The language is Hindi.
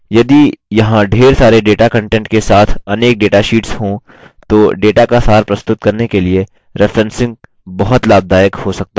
यदि यहाँ ढेर सारे data कंटेंट के साथ अनेक data शीट्स हो तो data का सार प्रस्तुत करने के लिए referencing बहुत लाभदायक हो सकता है